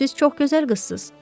Siz çox gözəl qızsınız.